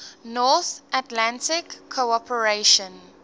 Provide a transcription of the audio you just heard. north atlantic cooperation